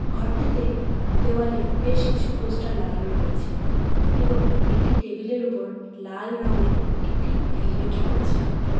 ঘরটিতে দেওয়ালে বেশ কিছু পোস্টার লাগানো রয়েছে এবং একটি টেবিল এর ওপর লাল রঙের একটি হেলমেট রয়েছে।